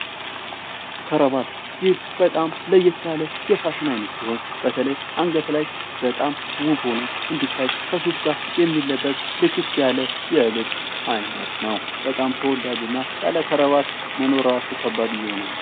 ከረባት ይህ በጣም ለየት ያለ የፋሽን አይነት ሲሆን በተለይ አንገት ላይ በጣም ውብ ሆኖ እንድታይ ከሱፍ ጋር የሚለበስ ፥ ልክክ ያለ የልብስ አይነት ነው። ተወዳጅና ያለ ከረባት መኖር ራሱ በጣም ከባድ እየሆነ ነው።